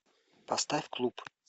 поставь клуб